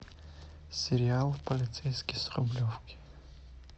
сериал полицейский с рублевки